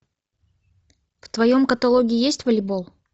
в твоем каталоге есть волейбол